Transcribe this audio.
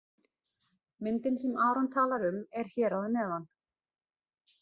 Myndin sem Aron talar um er hér að neðan.